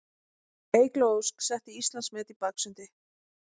Eygló Ósk setti Íslandsmet í baksundi